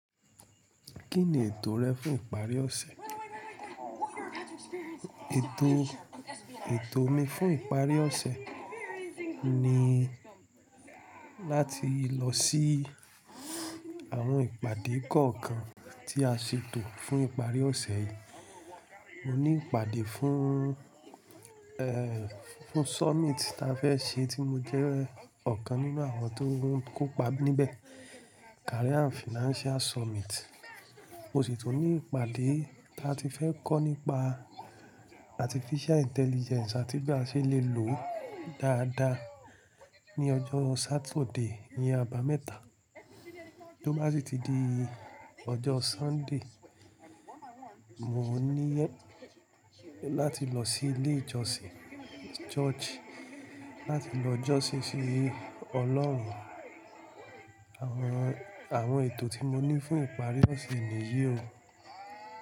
Kíni ètò rẹ fún ìparí ọ̀sẹ̀? Ètò, ètò mi fún ìparí ọ̀sẹ̀ ni láti lọ sí àwọn ìpàdé kọ̀ọ̀kan tí a ṣètò fún ìparí ọ̀sẹ̀ yìí. Mo ní ìpàdé fún, ẹ́, fún summit tí a fẹ́ ṣe tí mo jẹ́ ọ̀kan nínú àwọn tó ń kópa níbẹ̀, Career and Financial Summit. Mo sì tún ní ìpàdé tí a ti fẹ́ kọ́ nípa Artificial Intelligence àti bí a ṣe lè lòó dáadáa ní ọjọ́ Saturday iyẹn, àbámẹ́ta. Tó bá sì ti di ọjọ́ Sunday, mo ní láti lọ sí ilé ìjọsìn, church, láti lọ jọ́sí sí Ọlọ́run. Àwọn, àwọn ètò tí mo ní fún ìparí ọ̀sẹ̀ nìyí o.